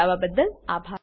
જોડાવા બદલ આભાર